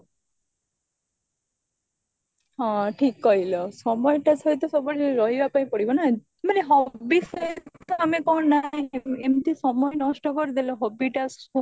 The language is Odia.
ହଁ ଠିକ କହିଲା ସମଟା ସହିତ ସବୁବେଳେ ରହିବା ପାଇଁ ପଡିବ ନା ମାନେ hobby ସହିତ ଆମେ କଣ ନା ଏମତି ସମୟ ନଷ୍ଟ କରିଦେଲ hobby